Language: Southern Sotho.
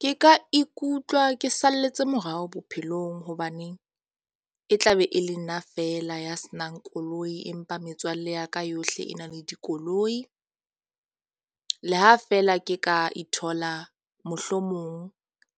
Ke ka ikutlwa ke salletse morao bophelong hobaneng e tla be e le nna fela ya senang koloi. Empa metswalle ya ka yohle e na le dikoloi. Le ha feela ke ka ithola mohlomong